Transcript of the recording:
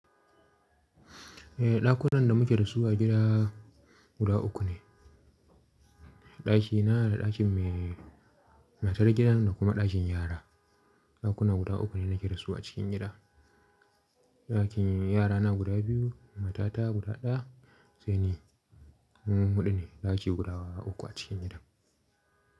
Eh, ɗakunan da muke da su a gida guda uku ne. Ɗaki na da ɗakin mai matan gidan da kuma ɗakin yara. Ɗakuna guda uku ne nake da su a cikin gida. Ɗakin yarana guda biyu, matata guda ɗaya sai ni. Mu huɗu ne ɗaki guda uku a cikin gidan.